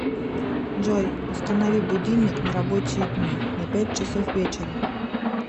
джой установи будильник на рабочие дни на пять часов вечера